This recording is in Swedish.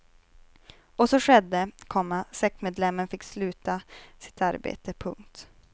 Och så skedde, komma sektmedlemmen fick sluta sitt arbete. punkt